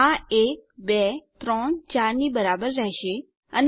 આ 1 2 3 4 ની બરાબર રહેશે અને ક્રમશ